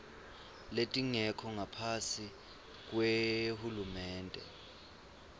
letingekho ngaphasi kwahulumende